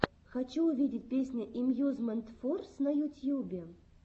хочу увидеть песня эмьюзмент форс на ютьюбе